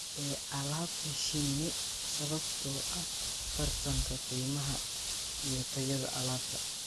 ee alaabta shinni sababtoo ah tartanka qiimaha iyo tayada alaabta.